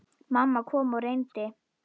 Mamma kom og reyndi.